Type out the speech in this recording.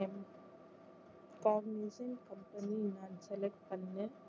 cognizant company நான் select பண்ணேன்